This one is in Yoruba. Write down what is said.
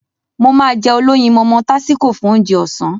Mo máá jẹ olóyinmọmọ tásíko fún Ounjẹ ọ̀sán